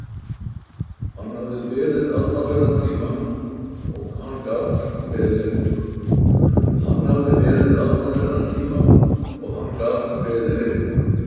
Hann hafði beðið allan þennan tíma og hann gat beðið lengur.